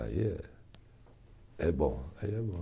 Aí é, é bom, aí é bom